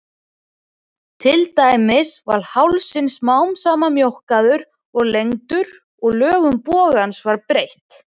Til dæmis var hálsinn smám saman mjókkaður og lengdur og lögun bogans var breytt.